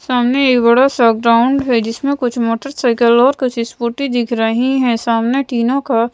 सामने एक बड़ा सा ग्राउंड हैं जिसमें कुछ मोटरसाइकिल और कुछ स्कूटी दिख रही हैं सामने टीनों का--